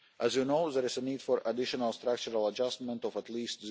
for Italy. As you know there is a need for additional structural adjustment